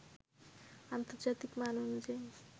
আন্তর্জাতিক মান অনুযায়ী